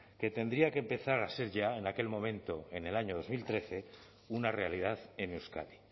que tendría que empezar a ser ya en aquel momento en el año dos mil trece una realidad en euskadi